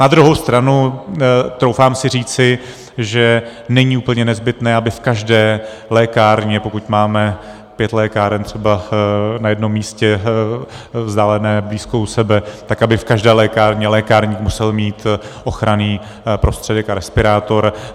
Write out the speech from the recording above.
Na druhou stranu troufám si říci, že není úplně nezbytné, aby v každé lékárně, pokud máme pět lékáren třeba na jednom místě vzdálených blízko u sebe, tak aby v každé lékárně lékárník musel mít ochranný prostředek a respirátor.